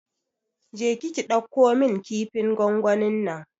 Je ki ki ɗauko min kifin gwangwanin nan!